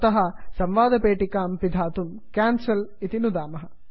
अतः संवादपेटिकां पिधातुं कैन्सेल क्यान्सल् नुदामः